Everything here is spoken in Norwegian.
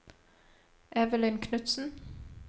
Evelyn Knudsen